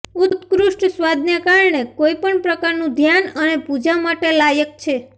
ઉત્કૃષ્ટ સ્વાદને કારણે કોઈ પણ પ્રકારનું ધ્યાન અને પૂજા માટે લાયક છે